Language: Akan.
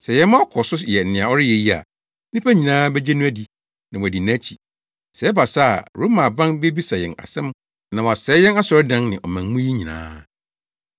Sɛ yɛma ɔkɔ so yɛ nea ɔreyɛ yi a, nnipa nyinaa begye no adi na wɔadi nʼakyi. Sɛ ɛba saa a Roma aban bebisa yɛn asɛm na wasɛe yɛn asɔredan ne ɔman mu yi nyinaa.”